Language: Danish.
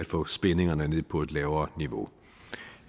få spændingerne ned på et lavere niveau